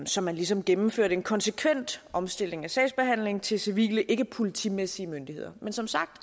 så man ligesom gennemførte en konsekvent omstilling af sagsbehandlingen til civile ikkepolitimæssige myndigheder men som sagt